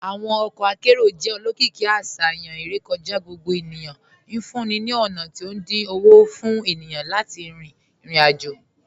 Awọn ọkọ akẹrọ̀ jẹ́ olókììkí àṣayàn irèkọ̀já gbogbo ènìyàn, nfúǹní ní ọ̀na tí o dín ọwọ́ fún ènìyàn láti rin irò-ajò.